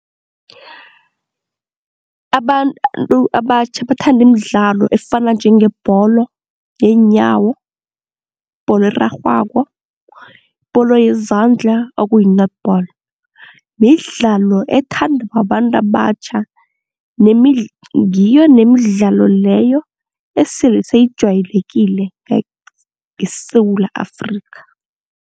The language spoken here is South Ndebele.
Abantu abatjha bathanda imidlalo efana njengebholo yeenyawo, ibholo erarhwako, ibholo yezandla okuyi-netball, midlalo ethandwa babantu abatjha nemidla, ngiyo nemidlalo leyo esele seyijwayelekile eSewula Afrikha.